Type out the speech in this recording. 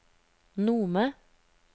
Nome